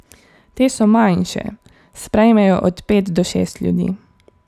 Te so manjše, sprejmejo od pet do šest ljudi.